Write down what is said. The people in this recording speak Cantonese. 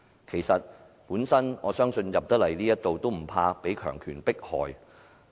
事實上，我相信能進入議會的議員也不懼怕被強權迫害。